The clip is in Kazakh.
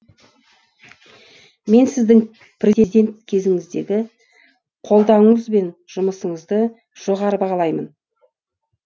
мен сіздің президент кезіңіздегі қолдауыңыз бен жұмысыңызды жоғары бағалаймын